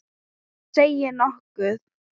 Þú segir nokkuð!